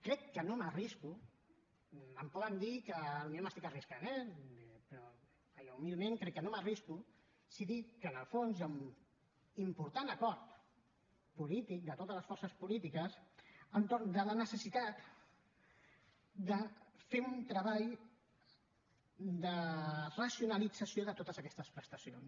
crec que no m’arrisco em poden dir que potser m’estic arriscant eh però jo humilment crec que no m’arrisco si dic que en el fons hi ha un important acord polític de totes les forces polítiques entorn de la necessitat de fer un treball de racionalització de totes aquestes prestacions